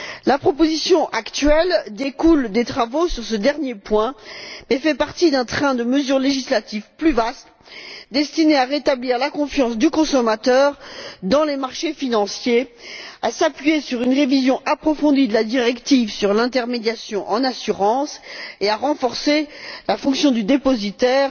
La proposition actuelle découle des travaux sur ce dernier point et fait partie d'un train de mesures législatives plus vaste destiné à rétablir la confiance du consommateur dans les marchés financiers, à s'appuyer sur une révision approfondie de la directive sur l'intermédiation en assurance et à renforcer la fonction du dépositaire